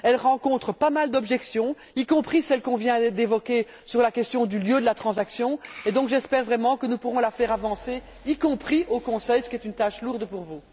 elle rencontre pas mal d'objections, y compris celle qu'on vient d'évoquer sur la question du lieu de la transaction. J'espère donc, vraiment, que nous pourrons la faire avancer, y compris au Conseil, ce qui est une lourde tâche pour vous.